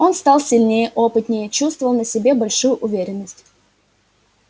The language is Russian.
он стал сильнее опытнее чувствовал на себе большую уверенность